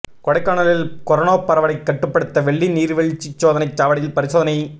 கொடைக்கானலில் கொரோனா பரவலை கட்டுப்படுத்த வெள்ளி நீர்வீழ்ச்சி சோதனைச் சாவடியில் பரிசோதனை